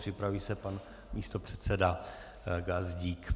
Připraví se pan místopředseda Gazdík.